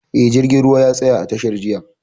Eh, jirgin ruwan ya tsaya a tashar jiya